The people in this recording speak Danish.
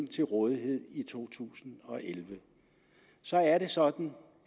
til rådighed i to tusind og elleve så er det sådan